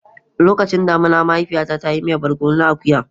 Lokacin damina, mahaifiyata ta yi miyan barkono na akuya.